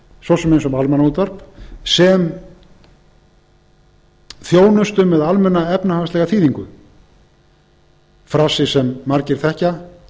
svo sem eins og með almannaútvarp sem þjónustu með almenna efnahagslega þýðingu frasi sem margir þekkja